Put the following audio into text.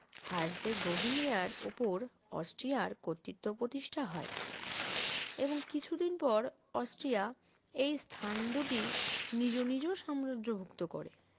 হারজে গভিনিয়ার ওপর অস্ট্রিয়ার কর্তৃত্ব প্রতিষ্ঠা হয় এবং কিছুদিন পর অস্ট্রিয়া এই স্থান দুটি নিজ নিজ সাম্রাজ্যভুক্ত করে